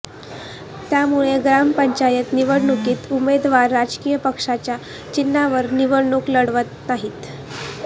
त्यामुळे ग्रामपंचायत निवडणुकीत उमेदवार राजकीय पक्षांच्या चिन्हांवर निवडणूक लढवत नाही